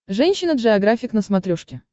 женщина джеографик на смотрешке